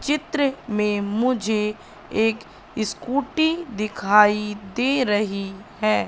चित्र में मुझे एक स्कूटी दिखाई दे रही है।